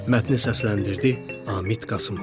Mətni səsləndirdi: Amit Qasımov.